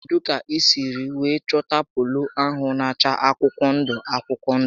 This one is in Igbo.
Kedụ kà I siri wéé chọta polo ahụ na acha akwụkwọ ndụ akwụkwọ ndụ?